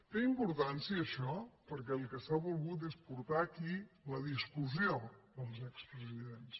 té importància això perquè el que s’ha volgut és portar aquí la discussió dels expresidents